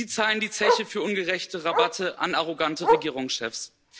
Sie zahlen die Zeche für ungerechte Rabatte an arrogante Regierungschefs.